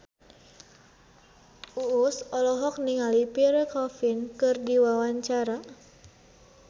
Uus olohok ningali Pierre Coffin keur diwawancara